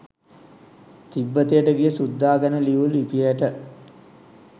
තිබ්බතයට ගිය සුද්දා ගැන ලියූ ලිපියට